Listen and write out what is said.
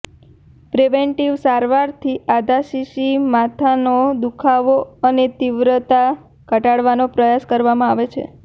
preventive સારવારથી આધાશીશી માથાનો દુઃખાવો અને તીવ્રતા ઘટાડવાનો પ્રયાસ કરવામાં આવે છે